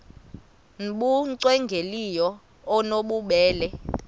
nbu cwengileyo obunobubele